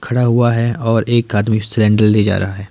खड़ा हुआ है और एक आदमी सिलेंडर ले जा रहा है।